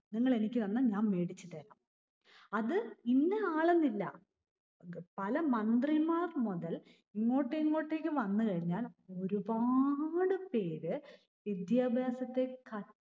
നിങ്ങൾ എനിക്ക് തന്ന ഞാൻ മേടിച്ചു തരാം. അത് ഇന്നആളെന്നില്ല. പല മന്ത്രിമാർ മുതൽ ഇങ്ങോട്ടിങ്ങോട്ടേക്ക് വന്ന് കഴിഞ്ഞാൽ ഒരുപാട് പേര് വിദ്യാഭ്യാസത്തെ കച്ച